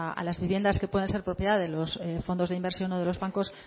a las viviendas que puedan ser propiedad de los fondos de inversión o de los bancos